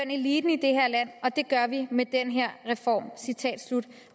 eliten i det her land og det gør vi med den her reform